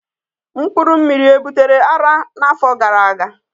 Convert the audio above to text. mpkuru mmiri e butere ara na afo gara aga?